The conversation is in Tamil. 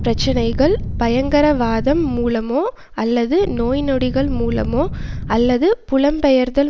பிரச்சனைகள் பயங்கரவாதம் மூலமோ அல்லது நோய்நொடிகள் மூலமோ அல்லது புலம்பெயர்தல்